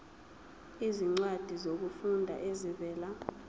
izincwadi zokufunda ezivela